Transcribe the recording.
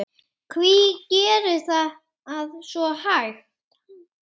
Hví gerist það svo hægt?